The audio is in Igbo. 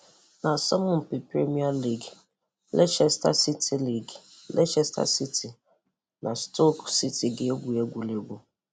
N'asọmpi Premier League, Leicester City League, Leicester City na Stoke City ga-egwu egwuregwu